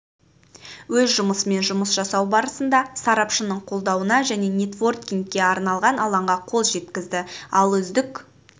өз жобасымен жұмыс жасау барысында сарапшының қолдауына және нетворкингке арналған алаңға қол жеткізді ал үздік